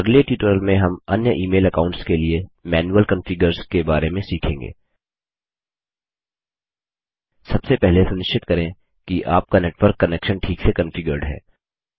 अगले ट्यूटोरियल में हम अन्य ईमेल अकाऊंट्स के लिए मैनुअल कॉन्फ़िगर्स के बारे में सीखेंगे सबसे पहले सुनिश्चित करें कि आपका नेटवर्क कनेक्शन ठीक से कॉन्फ़िगर्ड है